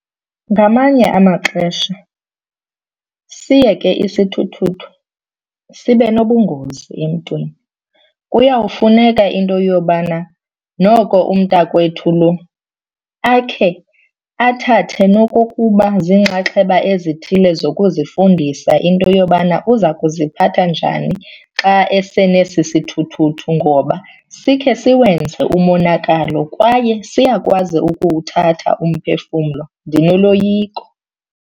Ngamanye amaxesha siye ke isithuthuthu sibe nobungozi emntwini. Kuyawufuneka into yobana noko umntakwethu lo akhe athathe nokokuba ziinxaxheba ezithile zokuzifundisa into yobana uza kuziphatha njani xa esenesi sithuthuthu ngoba sikhe siwenze umonakalo kwaye siyakwazi ukuwuthatha umphefumlo, ndinoloyiko.